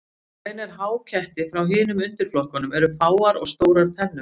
Það sem greinir háketti frá hinum undirflokkunum eru fáar og stórar tennur.